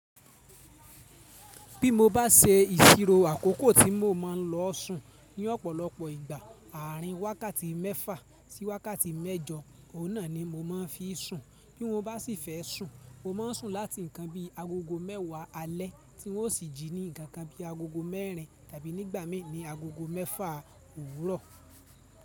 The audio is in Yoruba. Bí mo bá se ìsiro àkókò tí mo ma lọọ sùn ní ọ̀pọ̀lọpọ̀ ìgbà, àárín wákàtí mẹ́fà sí wákàtí mẹ́jọ, òun náà ni mo ma ń fi sùn. Bí wọ́n bá sì fẹ́ sùn, mo ma ń sùn láti nǹkan bí agogo mẹ́wàá alẹ́ tí wọn ó sì jí ní nǹkan kan bí i agogo mẹ́rin tàbí nígbà mì ni agogo mẹ́fà òwúrọ̀.